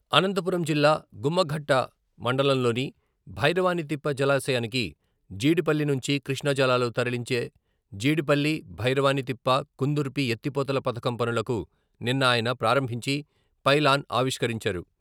అనంతపురం జిల్లా గుమ్మఘట్ట మండలంలోని భైరవానితిప్ప జలాశయానికి జీడిపల్లి నుంచి కృష్ణా జలాలు తరలించే జీడిపల్లి బైరవానితిప్ప కుందుర్పి ఎత్తిపోతల పథకం పనులకు నిన్న ఆయన ప్రారంభించి..పైలాన్ ఆవిష్కరించారు.